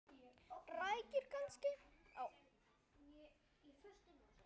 Rækjur kannski?